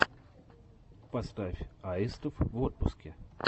поставь аистов в отпуске